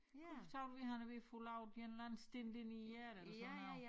Kunne se ud ved han er ved at få lavet en eller anden stint ind hjertet eller sådan noget